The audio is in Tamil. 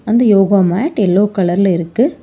அந்த யோகா மேட் எல்லோ கலர்ல இருக்கு.